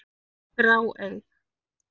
grá, eig.